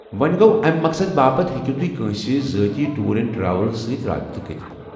وۄنۍ گوٚو ، امہ مقصد باپتھ ہیٚکِیو كٲنٛسہِ ذٲتی ٹوٗر اینڈ ٹریولس سۭتۍ رٲبطہٕ كرِتھ ۔